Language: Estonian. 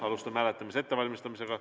Alustame hääletamise ettevalmistamist.